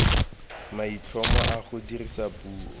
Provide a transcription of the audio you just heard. maitlhomo a go dirisa puo